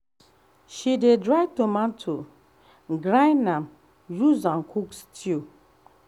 she dey dry tomato grind am use am cook stew